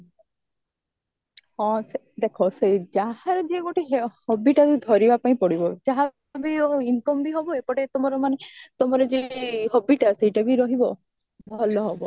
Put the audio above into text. ହଁ ସେ ଦେଖା ସେଇ ଯାହାର ଯିଏ ଗୋଟେ hobbyଟାକୁ ଧରିବା ପାଇଁ ପଡିବ ଯାହାବି ହାଉ incomeବି ହବ ଏପଟେ ତୁମର ମାନେ ତମର ଯୋଉ hobbyଟା ସେଇଟାବି ରହିବା ଭଲ ହବ